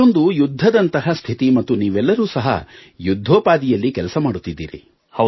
ಇದೊಂದು ಯುದ್ಧದಂತಹ ಸ್ಥಿತಿ ಮತ್ತು ನೀವೆಲ್ಲರೂ ಸಹ ಯುದ್ಧೋಪಾದಿಯಲ್ಲಿ ಕೆಲಸ ಮಾಡುತ್ತಿದ್ದೀರಿ